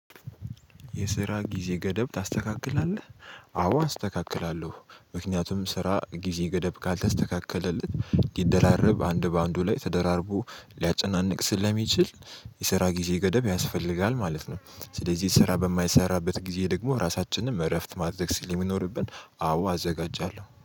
የስራ ጊዜ ገደብ ታስተካክላለህ? አዎ አስተካክላለሁ። ምክንያቱም ስራ ጊዜ ገደብ ካልተስተካከለለት ሊደራረብ አንድ በአንዱ ላይ ተደራርቦ ሊያጨናንቅ ስለሚችል የሰራ ጊዜ ገደብ ያስፈልጋል ማለት ነው። ስለዚህ ስራ በማይሰራበት ጊዜ ደግሞ ራሳችንን እረፍት ማድረግ ስለሚኖርብን አዎ አዘጋጃለሁ